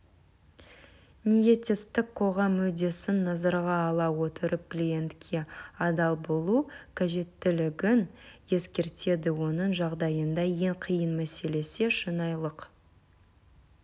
ниеттестік қоғам мүддесін назарға ала отырып клиентке адал болу қажеттілігін ескертеді оның жағдайында ең қиын мәселе шынайылық